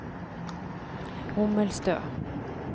Hommelstø